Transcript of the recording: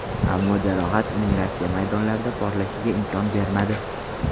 Ammo jarohat uning Rossiya maydonlarida porlashiga imkon bermadi.